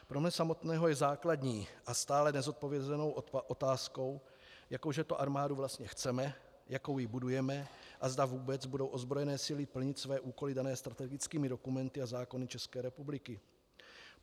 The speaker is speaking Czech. Pro mne samotného je základní a stále nezodpovězenou otázkou, jakou že to armádu vlastně chceme, jakou ji budujeme a zda vůbec budou ozbrojené síly plnit své úkoly dané strategickými dokumenty a zákony České republiky.